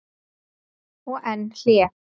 Og enn hlé.